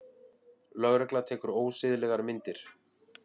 Lögregla tekur ósiðlegar myndir